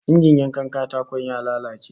Injin yankan katako ya lalace